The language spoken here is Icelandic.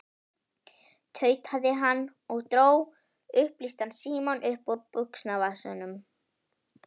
tautaði hann og dró upplýstan símann upp úr buxnavasanum.